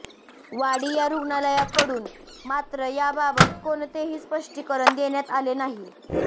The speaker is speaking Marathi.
वाडिया रुग्णालयाकडून मात्र याबाबत कोणतेही स्पष्टीकरण देण्यात आले नाही